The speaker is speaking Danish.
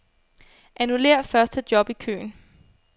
Annullér første job i køen.